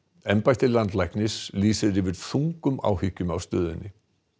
embætti landlæknis lýsir yfir þungum áhyggjum af stöðunni